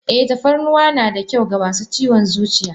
Eh tafarnuwa na da kyau wa masu ciwon zuciya.